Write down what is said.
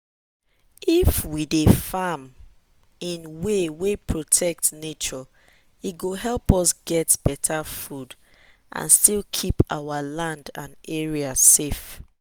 dem dey allow goat wey grow near river sleep with the ones wey grow for dry place make their pikin fit survive anywhere